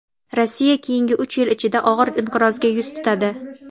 Rossiya keyingi uch yil ichida og‘ir inqirozga yuz tutadi.